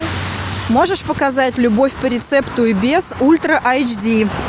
можешь показать любовь по рецепту и без ультра айч ди